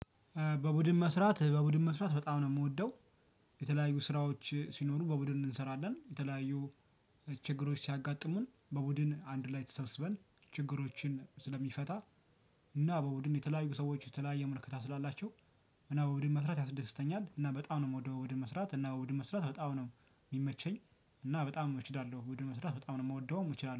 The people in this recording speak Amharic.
በቡድን መስራት በቡድን መስራት በጣም ነው የምወደው። የተለያዩ ስራዎች ሲኖሩ በቡድን እንሰራለን የተለያዩ ችግሮች ሲያጋጥሙን በቡድን አንድ ላይ ተሰብስበን ችግሮችን ስለሚፈታ። እና በቡድን የተለያዩ ሰዎች የተለያየ ምልከታ ስላላቸው። እና በቡድን መስራት ያስደስተኛል። እና በጣም ነው ምወደው በቡድን መስራት እና በቡድን መስራት በጣም ነው የሚመቸኝ። እና በጣም እችላለሁ በቡድን መስራት በጣም ነው የምወደው እችላለሁ